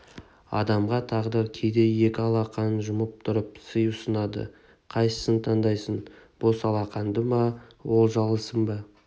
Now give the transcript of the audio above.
адамға тағдыр кейде екі алақанын жұмып тұрып сый ұсынады қайсысын таңдарсың бос алақанды ма олжалысын ба